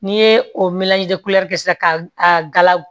N'i ye o kɛ sisan ka a ga